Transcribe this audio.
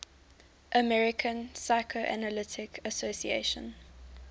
american psychoanalytic association